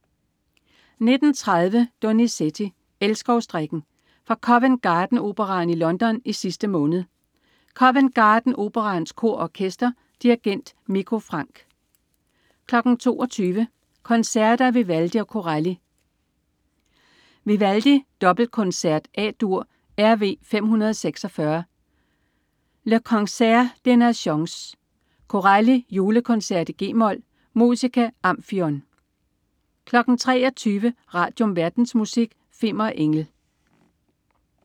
19.30 Donizetti: Elskovsdrikken. Fra Covent Garden Operaen i London i sidste måned. Covent Garden Operaens Kor og Orkester. Dirigent: Mikko Franck 22.00 Koncerter af Vivaldi og Corelli. Vivaldi: Dobbelkoncert, A.dur, RV 546. Le Concert des Nations. Corelli: Julekoncert, g-mol. Musica Amphion 23.00 Radium. Verdensmusik. Fimmer Engel